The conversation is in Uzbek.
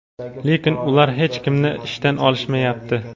Lekin ular hech kimni ishdan olishmayapti.